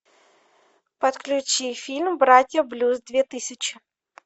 подключи фильм братья блюз две тысячи